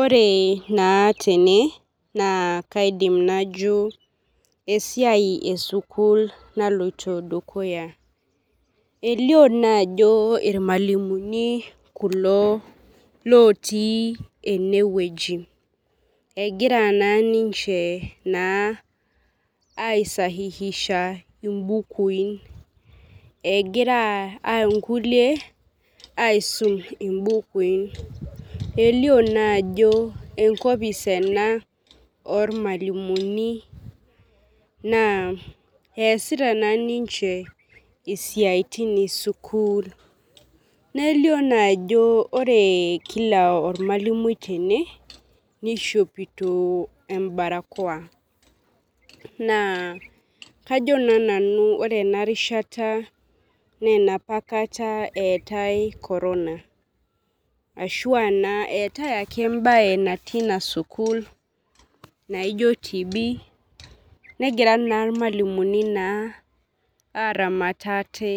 Ore naa tene naa kaidim nao esiai esukuul naloito dukuya elio naa ajo irmualimuni otii ene wueji egira naa ninche aasahihisha imbukui egira inkulie aisum imbukui elio naa jao enkopis ormalimuni naa essita ninche isiaiti esukuul nelio naa ajo kila ormawalimui tene naishopito embarakoa kano naa nanu ore ena rishata naa enapa kata eetai korona ashua naa eetai naa embaye natii ina sukull naijio tb negira naa irmalimuni aramat ate